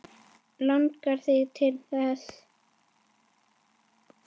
Langar þig til þess?